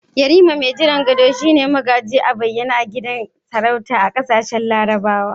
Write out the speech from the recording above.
Yarima mai jiran gado shi ne magaji a bayyane a gidan sarautar kasashen larabawa.